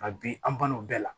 Nka bi an balimaw bɛɛ la